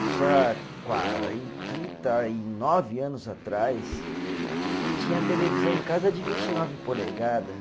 Isso há quarenta, trinta e nove anos atrás, tinha televisão em casa de vinte e nove polegada.